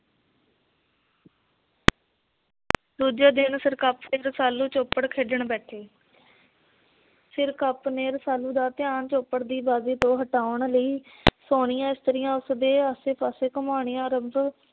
ਦੂਜੇ ਦਿਨ ਸਿਰਕਪ ਤੇ ਰਸਾਲੂ ਚੋਪੜ ਖੇਡਣ ਬੈਠੇ। ਸਿਰਕਪ ਨੇ ਰਸਾਲੂ ਦਾ ਧਿਆਨ ਚੋਪੜ ਦੀ ਬਾਜੀ ਤੋਂ ਹਟਾਉਣ ਲਈ ਸੋਹਣੀਆਂ ਇਸਤਰੀਆ ਉਸਦੇ ਆਸੇ-ਪਾਸੇ ਘੁਮਾਣੀਆਂ ਆਰੰਭ